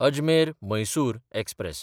अजमेर–मैसूर express